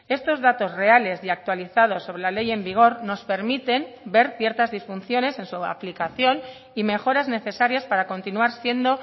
estos datos reales y actualizados sobre la ley en vigor nos permiten ver ciertas disfunciones en su aplicación y mejoras necesarias para continuar siendo